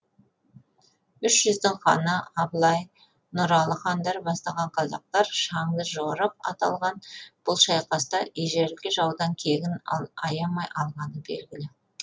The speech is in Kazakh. үш жүздің ханы абылай нұралы хандар бастаған қазақтар шаңды жорық аталған бұл шайқаста ежелгі жаудан кегін аямай алғаны белгілі